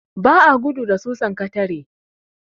Ba a gudu da susan katare.